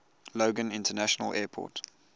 logan international airport